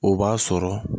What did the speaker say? O b'a sɔrɔ